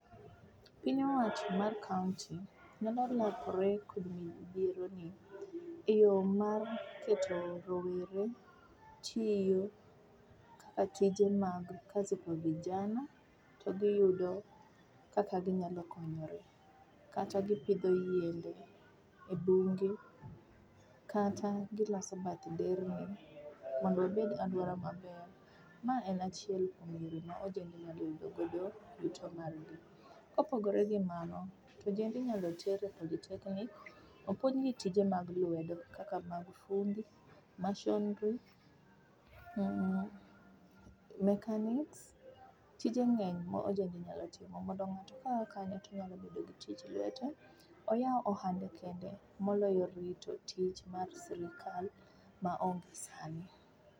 Piny owacho mar kaunti nyalo makore kod midhiero ni e yoo mar keto rowere tiyo kaka tije mag kazi kwa vijana to giyudo kaka ginyalo konyore, kata gipidho yiende e bunge kata giloso bath nderni mondo obed aluora maber. Ma en achiel kuom yore ma ojende nyalo yudogo yuto margi. Kopogore gi mano to ojende inyal ter e polytechnic opuonjgi tije mag lwedo kaka mag fundi, masonry, mmh,mechanics[c],tije ngeny ma ojende nyalo timo mondo ng'ato ka a kano to oyudo tij lwedo, oyao ohande kende moloyo rito tich mar sirkal maonge sani